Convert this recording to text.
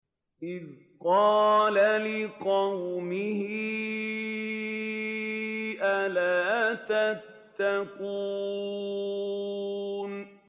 إِذْ قَالَ لِقَوْمِهِ أَلَا تَتَّقُونَ